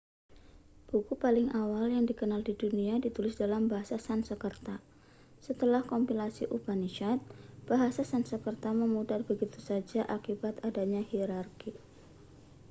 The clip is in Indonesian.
buku paling awal yang dikenal di dunia ditulis dalam bahasa sanskerta setelah kompilasi upanishad bahasa sansekerta memudar begitu saja akibat adanya hierarki